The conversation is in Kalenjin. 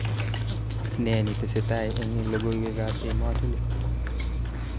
Nee netestai eng logoiwekab emetunik